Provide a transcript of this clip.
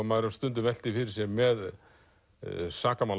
maður hefur stundum velt því fyrir sér með